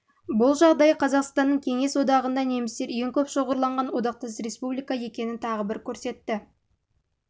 бұл жағдай қазақстанның кеңес одағында немістер ең көп шоғырланған одақтас республика екенін тағы бір көрсетті